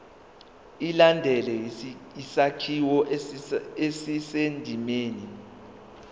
ilandele isakhiwo esisendimeni